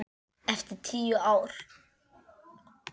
Eftir tíu ár.